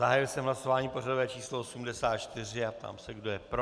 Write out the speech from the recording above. Zahájil jsem hlasování pořadové číslo 84 a ptám se, kdo je pro.